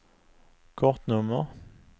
kortnummer